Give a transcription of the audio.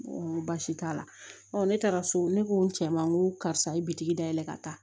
N ko baasi t'a la ne taara so ne ko n cɛ ma n ko karisa ye bitigi da yɛlɛ ka taa